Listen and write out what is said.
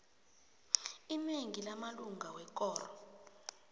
inengi lamalunga wekoro